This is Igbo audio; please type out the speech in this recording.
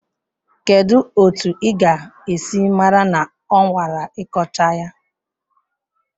Kedu otu ị ga-esi mara na ọ nwara ịkọcha ya?